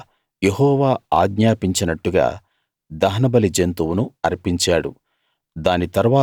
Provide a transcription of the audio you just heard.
తరువాత యెహోవా ఆజ్ఞాపించినట్టుగా దహనబలి జంతువును అర్పించాడు